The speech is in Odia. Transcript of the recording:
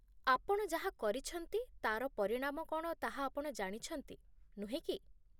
ଆପଣ ଯାହା କରିଛନ୍ତି ତା'ର ପରିଣାମ କ'ଣ ତାହା ଆପଣ ଜାଣିଛନ୍ତି, ନୁହେଁ କି?